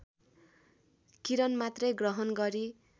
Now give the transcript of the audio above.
किरणमात्रै ग्रहण गरी